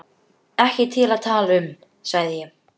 Ekki til að tala um, sagði ég.